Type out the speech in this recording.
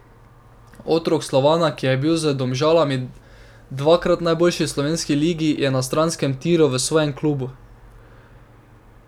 Otrok Slovana, ki je bil z Domžalami dvakrat najboljši v slovenski ligi, je na stranskem tiru v svojem klubu.